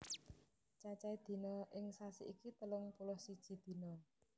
Cacahe dina ing sasi iki telung puluh siji dina